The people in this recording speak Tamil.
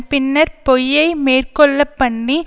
பின்னர்ப் பொய்யை மேற்கொள்ளப்பண்ணி